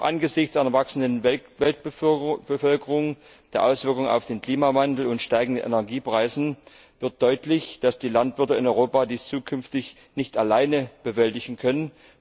Angesichts einer wachsenden Weltbevölkerung oder der Auswirkungen des Klimawandels und steigender Energiepreise wird deutlich, dass die Landwirte in Europa dies zukünftig nicht alleine bewältigen können.